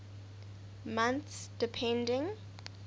months depending